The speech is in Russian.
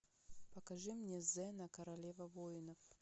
покажи мне зена королева воинов